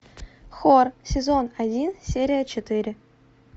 хор сезон один серия четыре